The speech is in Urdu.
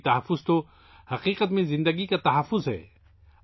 پانی کا تحفظ دراصل زندگی کا تحفظ ہے